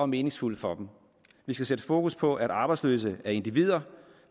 meningsfuld for dem vi skal sætte fokus på at arbejdsløse er individer